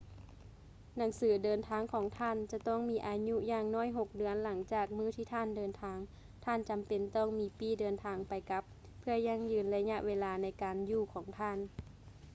ໜັງສືເດີນທາງຂອງທ່ານ ຈະຕ້ອງມີອາຍຸຢ່າງໜ້ອຍ 6 ເດືອນຫຼັງຈາກມື້ທີ່ທ່ານເດີນທາງ ທ່ານຈຳເປັນຕ້ອງມີປີ້ເດີນທາງໄປ-ກັບ ເພື່ອຢັ້ງຢືນໄລຍະເວລາໃນການຢູ່ຂອງທ່ານ